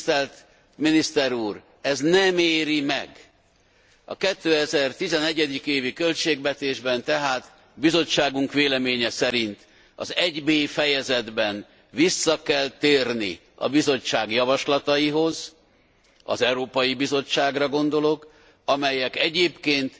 Tisztelt Miniszter úr! Ez nem éri meg. A 2011. évi költségvetésben tehát bizottságunk véleménye szerint az 1B fejezetben vissza kell térni a Bizottság javaslataihoz az Európai Bizottságra gondolok, amelyek egyébként